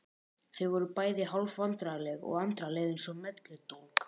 Þau voru bæði hálf vandræðaleg og Andra leið eins og melludólg.